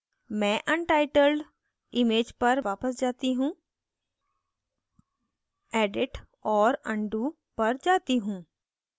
मैं untitled image पर वापस जाती हूँ edit और undo पर जाती हूँ